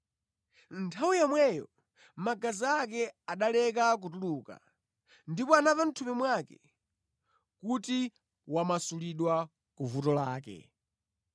Nthawi yomweyo magazi ake analeka kutuluka ndipo anamva mʼthupi mwake kuti wamasulidwa ku vuto lake.